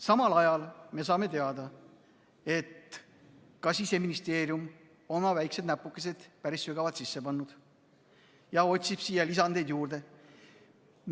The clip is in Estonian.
Samal ajal me saame teada, et ka Siseministeerium on oma väikesed näpukesed päris sügavalt sisse pannud ja otsib siia lisandeid juurde.